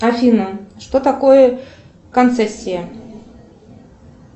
афина что такое концессия